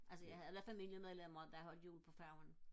altså jeg havde da familiemedlemmer der holdte jul på færgen